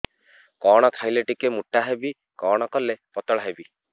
କଣ ଖାଇଲେ ଟିକେ ମୁଟା ହେବି କଣ କଲେ ପତଳା ହେବି